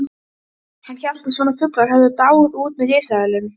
Getum ekki velst um á steingólfinu.